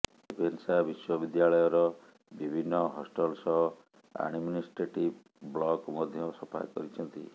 Ravenshaw ବିଶ୍ବ ବିଦ୍ୟାଳୟର ବିଭିନ୍ନ ହଷ୍ଟଲ ସହ ଆଡମିଷ୍ଟ୍ରେଟିଭ ବ୍ଲକ ମଧ୍ୟ ସଫା କରିଛନ୍ତି